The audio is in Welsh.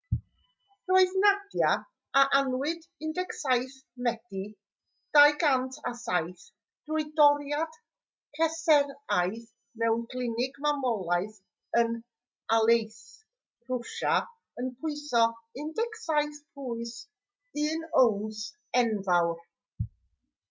roedd nadia a anwyd ar 17 medi 2007 drwy doriad cesaraidd mewn clinig mamolaeth yn aleisk rwsia yn pwyso 17 pwys 1 owns enfawr